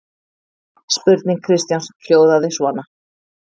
Spurning Kristjáns hljóðaði svona: